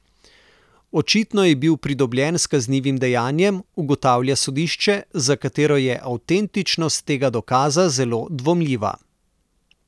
Očitno je bil pridobljen s kaznivim dejanjem, ugotavlja sodišče, za katero je avtentičnost tega dokaza zelo dvomljiva.